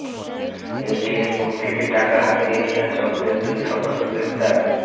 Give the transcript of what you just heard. ATM booth থেকে টাকা হাতিয়ে নেয়া চক্রের দুই সদস্য গ্রেফতার